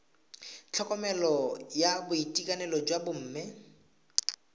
tlhokomelo ya boitekanelo jwa bomme